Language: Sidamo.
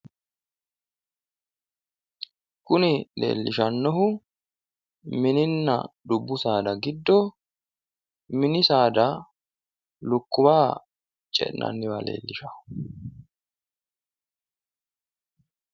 kuni leellishshannohu mininna dubbu saada giddo mini saada lukkuwa ce'nanniwa leellishshanno.